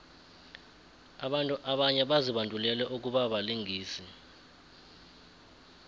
abantu abanye bazibandulele ukubabalingisi